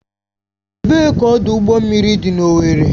Ebee ka ọdụ ụgbọ mmiri dị n'Owerri?